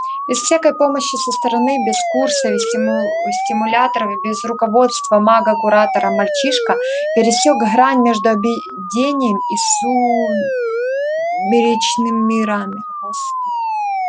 без всякой помощи со стороны без курсов и стимуляторов без руководства мага-куратора мальчишка пересёк грань между обыденным и сумеречным мирами